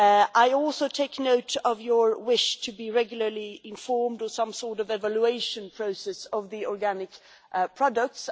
I also take note of your wish to be regularly informed or to have some sort of evaluation process of the organic products.